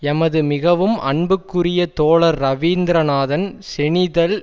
எமது மிகவும் அன்புக்குரிய தோழர் ரவீந்திரநாதன் செநிதல்